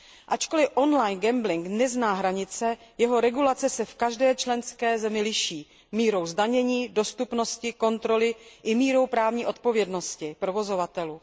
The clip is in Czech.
Ačkoli on line gambling nezná hranice, jeho regulace se v každé členské zemi liší mírou zdanění, dostupnosti, kontroly i mírou právní odpovědnosti provozovatelů.